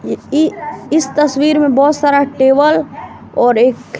इ इस तस्वीर में बहोत सारा टेबल और एक--